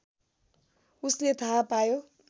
उसले थाहा पायो